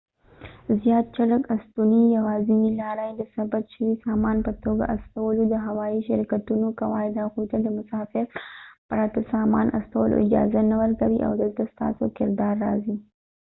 زیات چټک استنونې یواځینۍ لاره يې د ثبت شوي سامان په توګه استول وو د هوايي شرکتونو قواعد هغوی ته د مسافر پرته د سامان استولو اجازه نه ورکوي او دلته د ستاسو کردار راځي